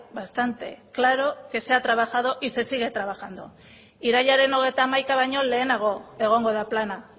bastante claro que se ha trabajado y se sigue trabajando irailaren hogeita hamaika baino lehenago egongo da plana